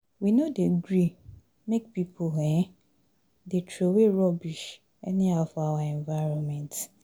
We no dey gree make pipo um dey troway rubbish anyhow for our environment.